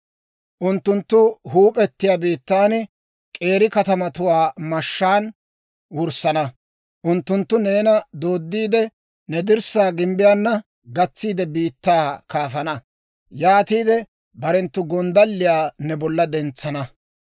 Unttunttu huup'etiyaa biittan k'eeri katamatuwaa mashshaan wurssana; unttunttu neena dooddiide, ne dirssaa gimbbiyaana gatsiide, biittaa kaafana. Yaatiide barenttu gonddalliyaa ne bolla dentsana.